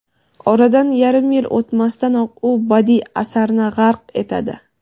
oradan yarim yil o‘tmasdanoq u badiiy asarni g‘arq etadi.